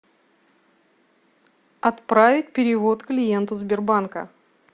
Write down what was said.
отправить перевод клиенту сбербанка